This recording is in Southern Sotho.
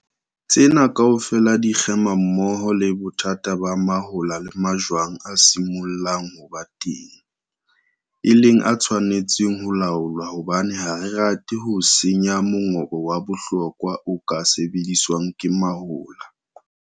Tsena kaofela di kgema mmoho le bothata ba mahola le majwang a simollang ho ba teng, e leng a tshwanetseng ho laolwa hobane ha re rate ho senya mongobo wa bohlokwa o ka sebediswang ke mahola.